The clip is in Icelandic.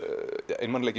einmanaleiki